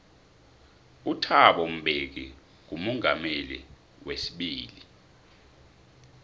uthabo mbeki ngumongameli weibili